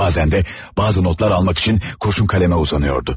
Bazen də bazı notlar almak üçün kuçun kalema uzanıyordu.